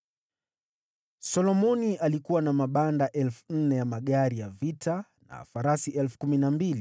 Solomoni alikuwa na mabanda 4,000 ya magari ya vita, na farasi 12,000.